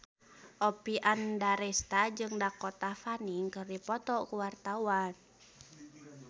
Oppie Andaresta jeung Dakota Fanning keur dipoto ku wartawan